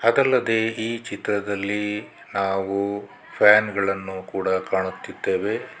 ಅದಲ್ಲದೆ ಈ ಚಿತ್ರದಲ್ಲಿ ಹಾಗು ಫ್ಯಾನ್ ಗಳನ್ನು ಕೂಡ ಕಾಣುತ್ತಿದ್ದೇವೆ.